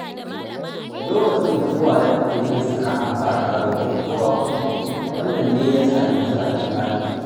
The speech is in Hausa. Lokacin da Uwale take yin sana’a ba ta roƙon kowa kuɗi, wannan ne ya sa yanzu ake ba ta